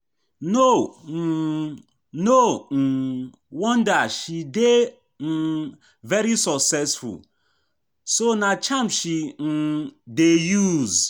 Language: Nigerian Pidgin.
No um No um wonder she dey um very successful, so ná charm she um dey use